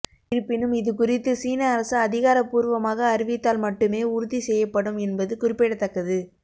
இருப்பினும் இதுகுறித்து சீன அரசு அதிகாரபூர்வமாக அறிவித்தால் மட்டுமே உறுதி செய்யப்படும் என்பது குறிப்பிடத்தக்கது